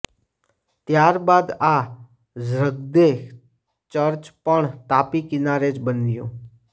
ત્યારબાદ આ ઝ્રગ્દૈં ચર્ચ પણ તાપી કિનારે જ બન્યું